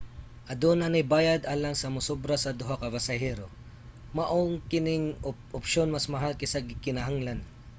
aduna nay bayad alang sa musobra sa duha ka pasahero maong kani nga opsyon mas mahal kaysa gikinahanglan